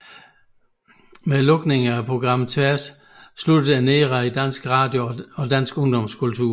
Med lukningen af programmet Tværs sluttede en æra i dansk radio og dansk ungdomskultur